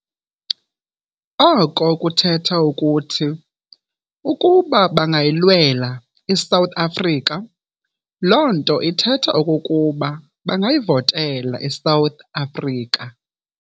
Oko kuthetha ukuthi "Ukuba bangayilwela i-South Afrika, loo nto ithetha okokuba bangayivotela i-South Afrika."